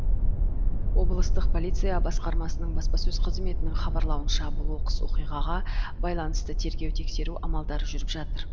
облыстық полиция басқармасының баспасөз қызметінің хабарлауынша бұл оқыс оқиғаға байланысты тергеу тексеру амалдары жүріп жатыр